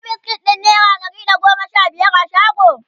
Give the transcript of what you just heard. akwai biskit ɗin naira Dari da goma Sha biyar a shago?